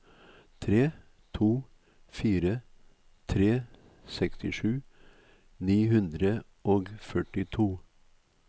tre to fire tre sekstisju ni hundre og førtito